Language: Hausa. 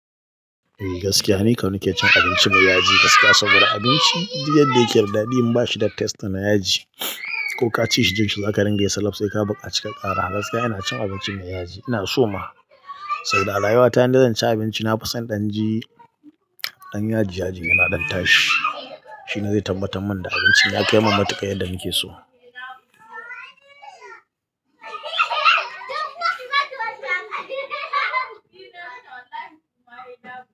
Eh gaskiya ni kam nake cin abinci mai yaji. Gaskiya saboda abinci duk yadda yake da dadi in bashi da taste na yaji ko ka ci shi jinshi zaka ringa yi salaf sai ka bukaci ka kara. A gaskiya ina cin abinci mai yaji. Ina so ma saboda a rayuwa ta indai zan ci abinci nafison danji. Dan yaji yaji yana ɗan tashi shine zai tabbatar min da abinci ya kai min matuka yadda nake so.